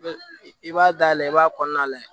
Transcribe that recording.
I b'a dayɛlɛ i b'a kɔnɔna lajɛ